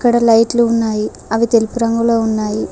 ఇక్కడ లైట్లు ఉన్నాయి అవి తెలుపు రంగులో ఉన్నాయి.